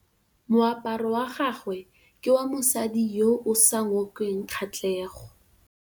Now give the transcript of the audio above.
Moaparô wa gagwe ke wa mosadi yo o sa ngôkeng kgatlhegô.